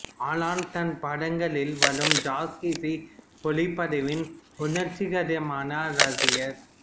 Alan தன் படங்களில் வரும் ஜாஸ் இசை ஒலிப்பதிவின் உணர்ச்சிகரமான ரசிகர்